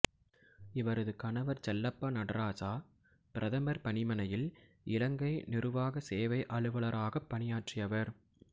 இவரது கணவர் செல்லப்பா நடராசா பிரதமர் பணிமனையில் இலங்கை நிருவாக சேவை அலுவலராகப் பணியாற்றியவர்